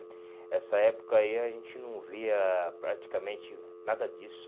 essa época aí a gente não via praticamente nada disso.